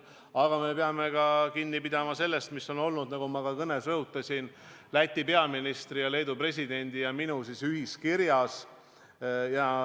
Aga me peame kinni pidama ka sellest, mis on olnud – nagu ma oma kõnes rõhutasin – Läti peaministri, Leedu presidendi ja minu ühiskirjas.